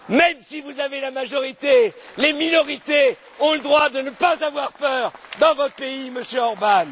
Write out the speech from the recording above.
Même si vous avez la majorité, les minorités ont le droit de ne pas avoir peur dans votre pays, Monsieur